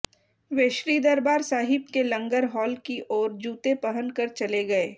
वे श्री दरबार साहिब के लंगर हॉल की ओर जूते पहन कर चले गए